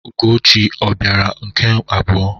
Ugochi ọ bịara nke abụọ?